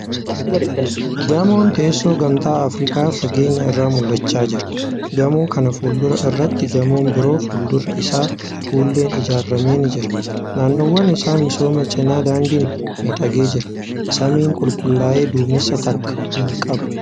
Gamoon teessoo gamtaa Afrikaa fageenya irraa mul'achaa jira. Gamoo kan fuuldura irratti gamoon biroo fuuldurri isaa fuulleen ijaarame ni jira. Naannawwaan isaa misooma cinaa daandiin miidhagee jira. Samiin qulqullaa'ee duumessa takka hin qabu.